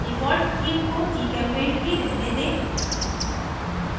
default theme को gchempaint ही रहने दें